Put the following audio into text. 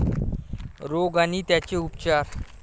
रोग आणि त्यांचे उपचार